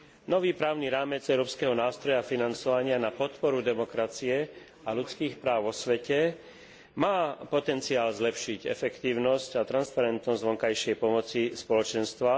Nový právny rámec Európskeho nástroja financovania na podporu demokracie a ľudských práv vo svete má potenciál zlepšiť efektívnosť a transparentnosť vonkajšej pomoci Spoločenstva.